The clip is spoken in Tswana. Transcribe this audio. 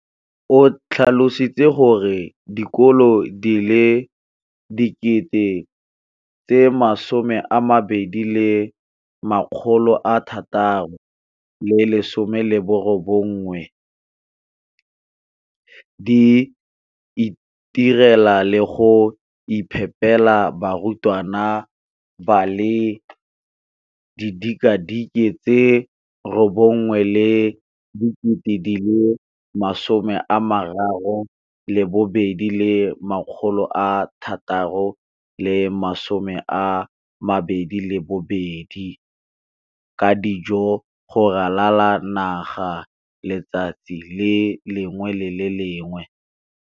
o tlhalositse gore dikolo di le 20 619 di itirela le go iphepela barutwana ba le 9 032 622 ka dijo go ralala naga letsatsi le lengwe le le lengwe.